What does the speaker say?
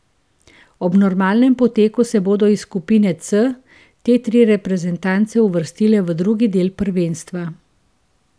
Ob normalnem poteku se bodo iz skupine C te tri reprezentance uvrstile v drugi del prvenstva.